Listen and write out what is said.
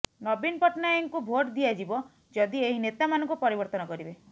ନବୀନ ପଟ୍ଟନାୟକଙ୍କୁ ଭୋଟ୍ ଦିଆଯିବ ଯଦି ଏହି ନେତାମାନଙ୍କୁ ପରିବର୍ତ୍ତନ କରିବେ